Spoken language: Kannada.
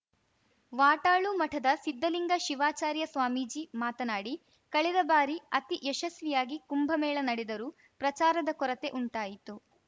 ವಾಟಾಳು ಮಠದ ಸಿದ್ಧಲಿಂಗ ಶಿವಾಚಾರ್ಯ ಸ್ವಾಮೀಜಿ ಮಾತನಾಡಿ ಕಳೆದ ಬಾರಿ ಅತಿ ಯಶಸ್ವಿಯಾಗಿ ಕುಂಭ ಮೇಳ ನಡೆದರೂ ಪ್ರಚಾರದ ಕೊರತೆ ಉಂಟಾಯಿತು